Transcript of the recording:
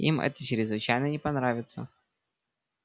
им это чрезвычайно не понравится